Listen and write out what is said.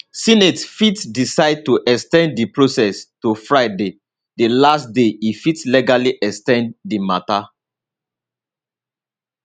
senate fit decide to ex ten d di process to friday di last day e fit legally ex ten d di matter